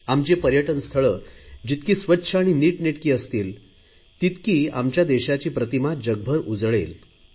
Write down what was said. आमची पर्यटन स्थळे जितकी स्वच्छ आणि नीटनेटकी असतील तितकी आमच्या देशाची प्रतिमा जगभर उजळेल